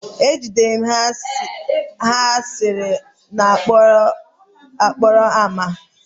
M jidere ha asịrị n'okporo ámá